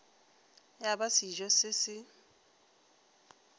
ya ba sejo se se